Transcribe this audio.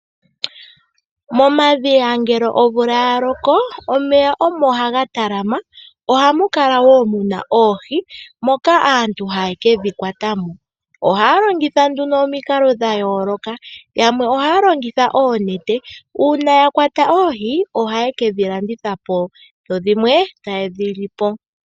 Omvula ngele yaloko momadhiya ohamu kala mwa talama omeya moka hamu adhika wo oohi. Aantu momikunda ohaya ningi oonkambadhala opo yedhi kwate mo, ohaya longitha oonete. Uuna ya kwata oohi ohadhi landithwa po nenge dhi ninge oshiyelelwa shaanegumbo mboka.